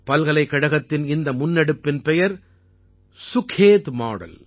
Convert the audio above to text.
பல்கலைக்கழகத்தின் இந்த முன்னெடுப்பின் பெயர் சுகேத் மாடல்